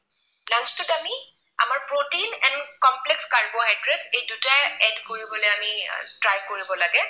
Complex carbohydrate এই দুটাই add কৰিবলৈ আমি try কৰিব লাগে।